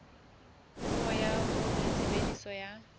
puo ya hore tshebediso ya